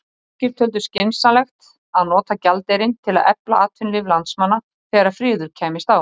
Margir töldu skynsamlegt að nota gjaldeyrinn til að efla atvinnulíf landsmanna þegar friður kæmist á.